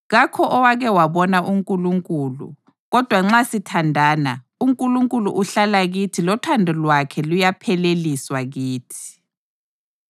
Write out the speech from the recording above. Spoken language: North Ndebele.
Kakho owake wabona uNkulunkulu; kodwa nxa sithandana, uNkulunkulu uhlala kithi lothando lwakhe luyapheleliswa kithi.